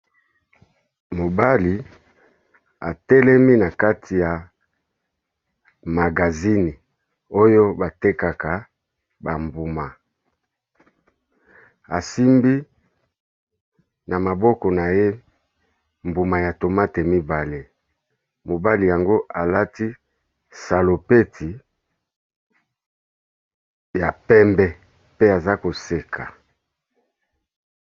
Mobali atelemi na kati ya magazini oyo ba tekaka ba mbuma, asimbi na maboko na ye mbuma ya tomate mibale. Mobali yango alati salopeti ya pembe, pe aza koseka.